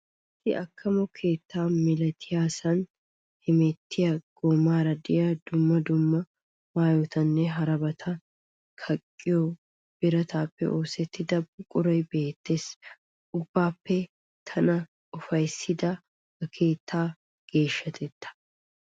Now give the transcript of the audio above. Issi akamo keetta malattiyasaan hemettiya goomaara de'iya dumma dumma maayotanne harabaata kaqqiyo birataappe oosettida buquray beettees. Ubbaappe tana ufayssiday ha keettaa geeshshatetta.